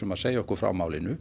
að segja okkur frá málinu